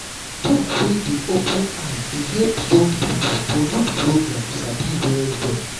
talk wey dey open eye dey help young people for youth program sabi well well.